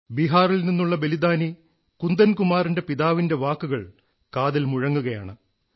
ബിഹാറിൽ നിന്നുള്ള ബലിദാനി കുന്ദൻ കുമാറിന്റെ പിതാവിന്റെ വാക്കുകൾ കാതിൽ മുഴങ്ങുകയാണ്